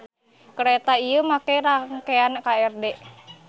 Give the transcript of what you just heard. Kareta ieu make rangkean KRD.